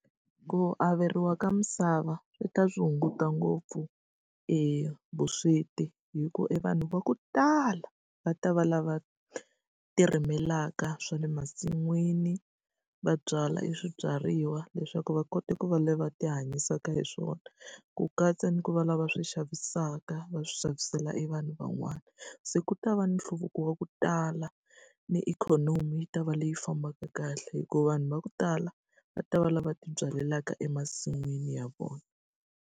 Ku averiwa ka misava swi swi hunguta ngopfu e vusweti hi ku e vanhu va ku tala va ta va lava tirimelaka swa le masin'wini. Va byala e swibyariwa leswaku va kota ku va lava va tihanyisaka hi swona, ku katsa ni ku va lava swi xavisaka va swi xavisela e vanhu van'wana. Se ku ta va ni nhluvuko wa ku tala, ni ikhonomi yi ta va leyi fambaka kahle hi ku vanhu va ku tala va ta va lava va tibyalaka emasin'wini ya vona.